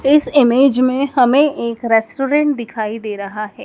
इस इमेज में हमें एक रेस्टोरेंट दिखाई दे रहा है।